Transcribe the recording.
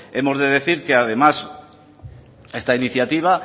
hemos de decir que además esta iniciativa